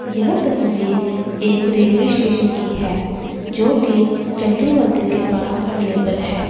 यह तस्वीर एक रेलवे स्टेशन की है जो कि चंडी मंदिर के पास अवेलेबल है।